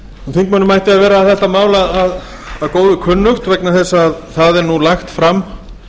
þingmönnum ætti að vera þetta mál að góðu kunnugt vegna þess að það er nú lagt fram